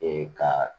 Ee ka